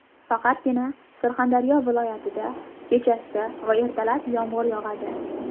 Faqatgina Surxondaryo viloyatida kechasi va ertalab yomg‘ir yog‘adi.